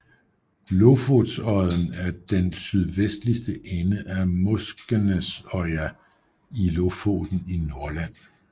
Lofotodden er den sydvestligste ende af Moskenesøya i Lofoten i Nordland